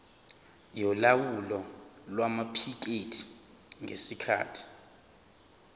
yolawulo lwamaphikethi ngesikhathi